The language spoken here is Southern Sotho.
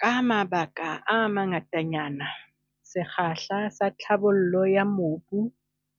Ka mabaka a mangatanyana, sekgahla sa tlhabollo ya mobu